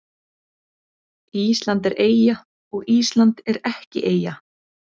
Ísland er eyja og Ísland er ekki eyja